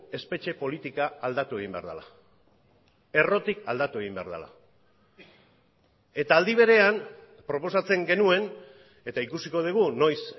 espetxe politika aldatu egin behar dela errotik aldatu egin behar dela eta aldi berean proposatzen genuen eta ikusiko dugu noiz